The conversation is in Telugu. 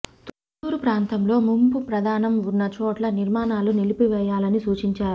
తుళ్లూరు ప్రాంతంలో ముంపు ప్రమాదం ఉన్న చోట్ల నిర్మాణాలు నిలిపివేయాలని సూచించారు